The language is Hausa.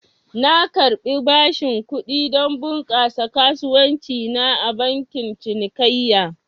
Na karbi bashin kudi don bunƙasa kasuwanci na a bankin cinikayya